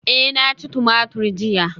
Eh na ci tumatur jiya